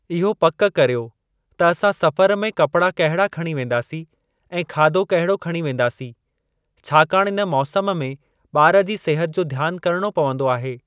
इहो पक कर्यो त असां सफ़र में कपड़ा कहिड़ा खणी वेन्दासीं ऐं खाधो कहिड़ो खणी वेन्दासीं, छाकाणि इन मौसम में ॿार जी सेहत जो ध्यान करणो पवन्दो आहे।